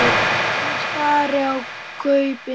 Ég stari í gaupnir mér.